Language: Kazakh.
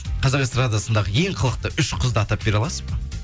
қазақ эстрадасындағы ең қылықты үш қызды атап бере аласыз ба